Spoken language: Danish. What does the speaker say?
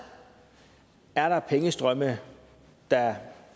er der pengestrømme der